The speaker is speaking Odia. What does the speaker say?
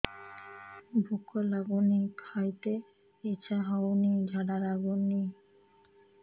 ଭୁକ ଲାଗୁନି ଖାଇତେ ଇଛା ହଉନି ଝାଡ଼ା ଲାଗୁନି